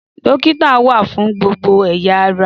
Dókítà wà fún gbogbo ẹ̀ya ará